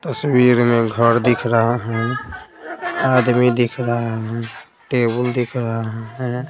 तस्वीर में घर दिख रहा है आदमी दिख रहा है टेबुल दिख रहा हैं।